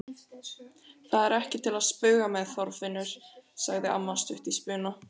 Það er ekki til að spauga með, Þorfinnur! sagði amma stutt í spuna.